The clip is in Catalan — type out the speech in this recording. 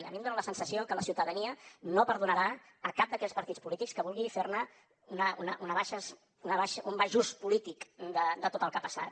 a mi em dona la sensació que la ciutadania no perdonarà cap d’aquells partits polítics que vulgui fer ne un baix ús polític de tot el que ha passat